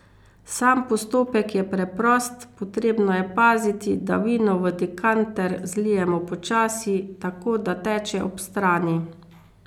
Sam postopek je preprost, potrebno je paziti, da vino v dekanter zlijemo počasi, tako da teče ob strani.